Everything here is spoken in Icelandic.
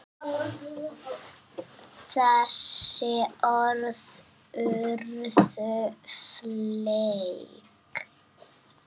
Þessi orð urðu fleyg.